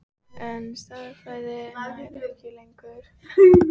En stærðfræðin nær ekki lengur að fanga huga hans.